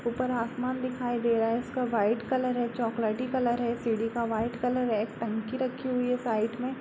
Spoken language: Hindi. ऊपर आसमान दिखाई दे रहा है इसका वाइट कलर है चॉकलेटी कलर है सीढ़ी का वाइट कलर है एक टंकी रखी हुई है साइड में।